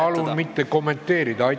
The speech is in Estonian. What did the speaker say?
Palun mitte kommenteerida!